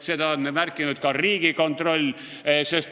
Seda on märkinud ka Riigikontroll.